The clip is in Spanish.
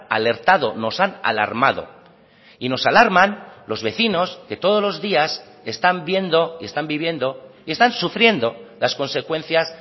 alertado nos han alarmado y nos alarman los vecinos que todos los días están viendo y están viviendo y están sufriendo las consecuencias